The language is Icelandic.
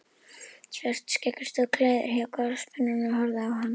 Svartskeggur stóð gleiður hjá gosbrunninum og horfði á hann.